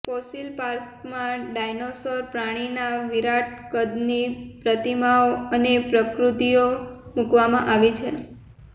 fossil પાર્કમાં dinosaur પ્રાણીના વિરાટ કદની પ્રતિમાઓ અને પ્રતિકૃતિઓ મૂકવામાં આવી છે